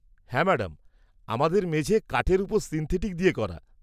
হ্যাঁ ম্যাডাম, আমাদের মেঝে কাঠের উপর সিন্থেটিক দিয়ে করা।